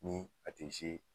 Ni a te